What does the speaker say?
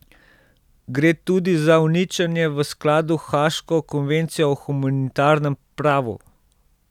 Gre tudi za uničenje v skladu haaško konvencijo o humanitarnem pravu.